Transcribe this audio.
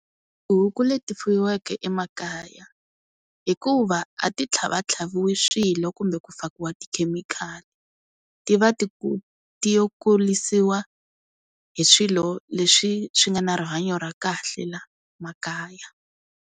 Tihuku leti fuyiwaka emakaya hikuva a ti tlhava tlhaviwi swilo kumbe ku fakiwa tikhemikhali ti va ti yo kulisiwa hi swilo leswi swi nga na rihanyo ra kahle la makaya.